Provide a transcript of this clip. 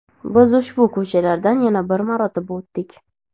Biz ushbu ko‘chalardan yana bir marotaba o‘tdik.